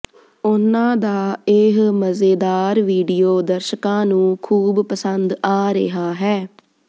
ਉਨ੍ਹਾਂ ਦਾ ਇਹ ਮਜ਼ੇਦਾਰ ਵੀਡੀਓ ਦਰਸ਼ਕਾਂ ਨੂੰ ਖੂਬ ਪਸੰਦ ਆ ਰਿਹਾ ਹੈ